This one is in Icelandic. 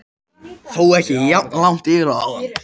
Þó ekki jafn langt yfir og áðan.